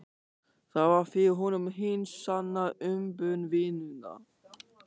Það var fyrir honum hin sanna umbun vinnunnar.